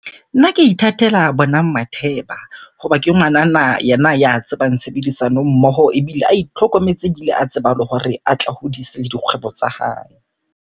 Nna ke ithatela Bonang Matheba. Hoba ke ngwanana yena ya tsebang tshebedisano mmoho. Ebile a itlhokometse, ebile a tseba le hore a tla hodise le dikgwebo tsa hae.